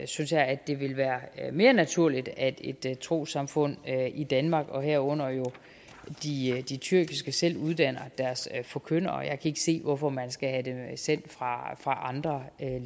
synes jeg at det ville være mere naturligt at trossamfund i danmark herunder de tyrkiske selv uddannede deres forkyndere jeg kan ikke se hvorfor man skal have dem sendt fra andre